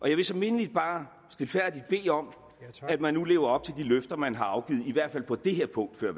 jeg vil så mindeligt bare stilfærdigt bede om at man nu lever op til de løfter man har afgivet i hvert fald på det her punkt